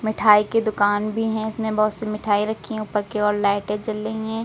मिठाई की दुकान भी हैं इसमें बहुत सी मिठाई रखी हैं ऊपर की ओर लाइटें जल रही हैं।